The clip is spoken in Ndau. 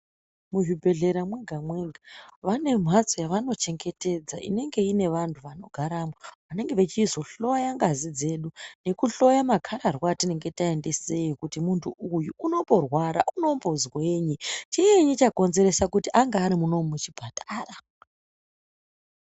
Muzvibhehlera mwega-mwega vane mhatso yavanochengetedza inenge inevantu vanogaramwo. Vanenge vechizohloya ngazi dzedu nekuhloya makararwa atinenge taendeseyo kuti muntu uyu unomborwara unombozwei. Chiinyi chakonzeresa kuti ange arimunomu muchipatara.